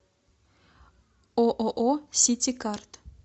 ооо ситикард